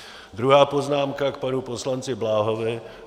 Druhá poznámka - k panu poslanci Bláhovi.